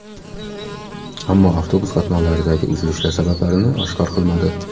Ammo avtobus qatnovlaridagi uzilishlar sabablarini oshkor qilmadi.